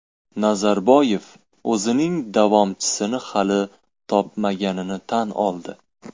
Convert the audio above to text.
Nazarboyev o‘zining davomchisini hali topmaganini tan oldi.